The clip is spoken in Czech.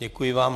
Děkuji vám.